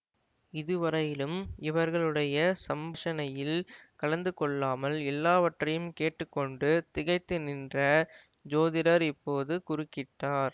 இதுவரையிலும் இவர்களுடைய சம்ஷணையில் கலந்து கொள்ளாமல் எல்லாவற்றையும் கேட்டு கொண்டு திகைத்து நின்ற ஜோதிடர் இப்போது குறுக்கிட்டார்